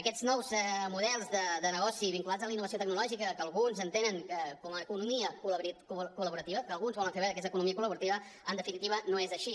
aquests nous models de negoci vinculats a la innovació tecnològica que alguns entenen com a economia col·laborativa que alguns volen fer veure que és economia col·laborativa en definitiva no són així